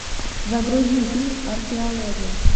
загрузи фильм археология